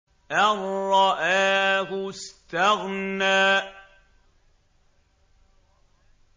أَن رَّآهُ اسْتَغْنَىٰ